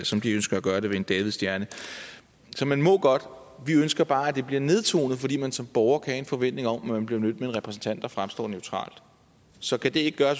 som de ønsker at gøre det med en davidsstjerne så man må godt vi ønsker bare at det bliver nedtonet fordi man som borger kan have en forventning om at man bliver mødt af en repræsentant der fremstår neutral så kan det ikke gøre